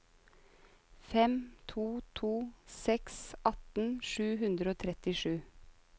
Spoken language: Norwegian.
fem to to seks atten sju hundre og trettisju